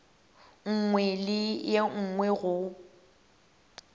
nngwe le ye nngwe go